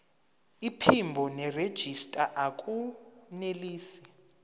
iphimbo nerejista akunelisi